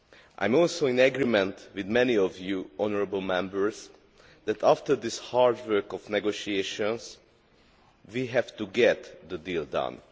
I am also in agreement with many of the honourable Members that, after the hard work of negotiations, we have to get the deal done.